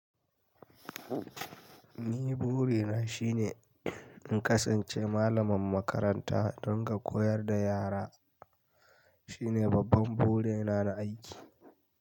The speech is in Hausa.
Ni buri na shine in kasance malamin makaranta don ka koyar da yara. Shi ne babban buri na na aiki.